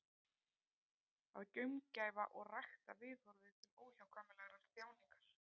Að gaumgæfa og rækta viðhorfið til óhjákvæmilegrar þjáningar.